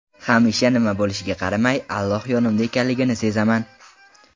Hamisha nima bo‘lishiga qaramay, Alloh yonimda ekanligini sezaman.